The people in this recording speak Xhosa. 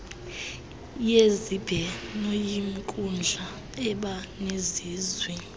yezibhenoyinkundla eba nelizwi